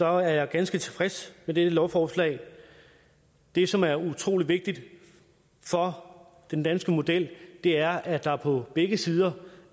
er jeg ganske tilfreds med dette lovforslag det som er utrolig vigtigt for den danske model er at der på begge sider